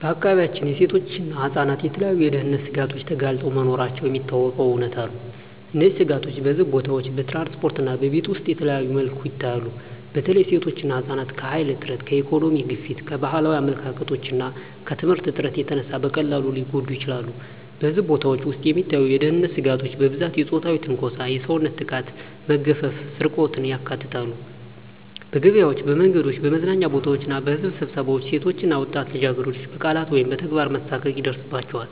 በአካባቢያችን ሴቶችና ህፃናት ለተለያዩ የደህንነት ስጋቶች ተጋልጠው መኖራቸው የሚታወቀው እውነታ ነው። እነዚህ ስጋቶች በሕዝብ ቦታዎች፣ በትራንስፖርት እና በቤት ውስጥ በተለያዩ መልኩ ይታያሉ። በተለይ ሴቶችና ህፃናት ከኃይል እጥረት፣ ከኢኮኖሚ ግፊት፣ ከባህላዊ አመለካከቶች እና ከየትምህርት እጥረት የተነሳ በቀላሉ ሊጎዱ ይችላሉ። በሕዝብ ቦታዎች ውስጥ የሚታዩ የደህንነት ስጋቶች በብዛት የፆታዊ ትንኮሳ፣ የሰውነት ጥቃት፣ መግፈፍ እና ስርቆትን ያካትታሉ። በገበያዎች፣ በመንገዶች፣ በመዝናኛ ቦታዎች እና በሕዝብ ስብሰባዎች ሴቶች እና ወጣት ልጃገረዶች በቃላት ወይም በተግባር መሳቀቅ ይደርሳባቸዋል።